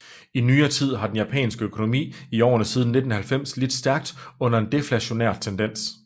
I nyere tid har den japanske økonomi i årene siden 1990 lidt stærkt under en deflationær tendens